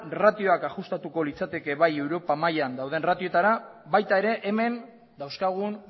ratioak ajustatuko litzateke bai europa mailan dauden ratioetara baita ere hemen dauzkagun